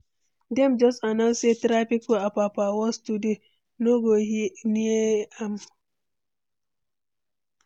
Dem just announce say traffic for Apapa worse today, no go near am.